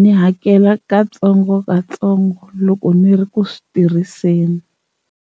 ni hakela katsongokatsongo loko ni ri ku swi tirhiseni.